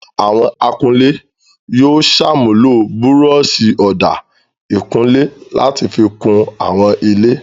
Àwọn akunlé yóò ṣàmúlò búrọ́ṣì ọ̀dà ìkunlé láti fi kun àwọn ilé.